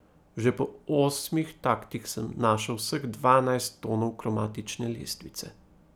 Že po osmih taktih sem našel vseh dvanajst tonov kromatične lestvice.